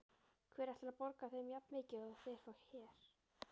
Hver ætlar að borga þeim jafnmikið og þeir fá hér?